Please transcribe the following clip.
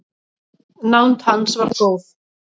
Nánd hans var góð.